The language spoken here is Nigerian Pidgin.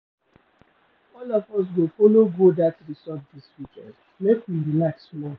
All of us go folo go dat resort dis weekend, make we relax small.